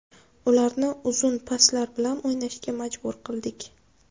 Ularni uzun paslar bilan o‘ynashga majbur qildik.